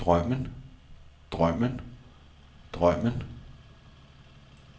drømmen drømmen drømmen